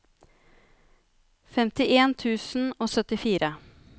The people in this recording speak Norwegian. femtien tusen og syttifire